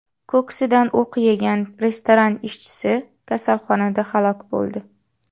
Ko‘ksidan o‘q yegan restoran ishchisi kasalxonada halok bo‘ldi.